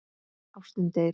Ástin deyr.